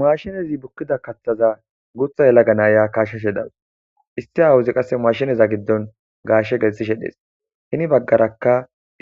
Mashinezi bukkida kathaza guutha yelaga naaya kasheshe dawus isti awuzi qasse maashineza giddon gaashe gessishe dees hini baggarakka